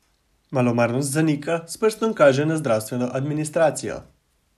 Malomarnost zanika, s prstom kaže na zdravstveno administracijo.